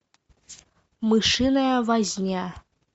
мышиная возня